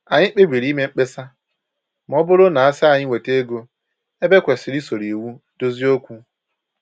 Anyị kpebiri ime mkpesa ma ọ bụrụ na-asị anyị weta ego ebe e kwesịrị isoro iwu dozie okwu